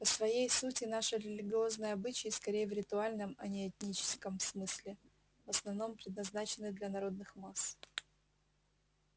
по своей сути наши религиозные обычаи скорее в ритуальном а не этическом смысле в основном предназначены для народных масс